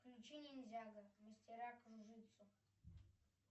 включи ниндзяго мастера кружитцу